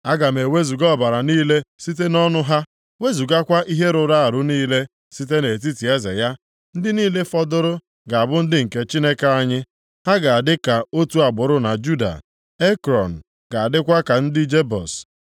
Aga m wezuga ọbara niile site nʼọnụ ha, wezugakwa ihe rụrụ arụ niile site nʼetiti eze ya. Ndị niile fọdụrụ ga-abụ ndị nke Chineke anyị, ha ga-adị ka otu agbụrụ na Juda. Ekrọn ga-adịkwa ka ndị Jebus.